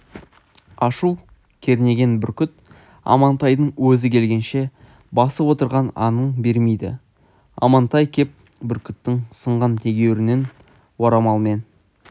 ашу кернеген бүркіт амантайдың өзі келгенше басып отырған аңын бермейді амантай кеп бүркіттің сынған тегеурінін орамалмен